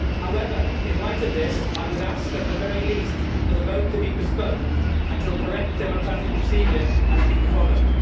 However, in light of this, I would ask at the very least that the vote be postponed until the correct democratic procedure has been followed.